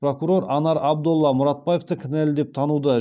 прокурор анар абдолла мұратбаевты кінәлі деп тануды